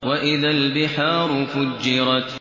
وَإِذَا الْبِحَارُ فُجِّرَتْ